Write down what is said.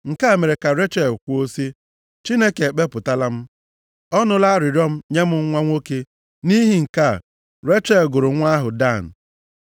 Nke a mere ka Rechel kwuo sị, “Chineke ekpepụtala m. Ọ nụla arịrịọ m nye m nwa nwoke.” Nʼihi nke a, Rechel gụrụ nwa ahụ Dan.